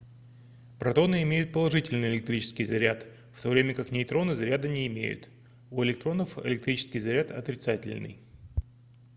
протоны имеют положительный электрический заряд в то время как нейтроны заряда не имеют у электронов электрический заряд отрицательный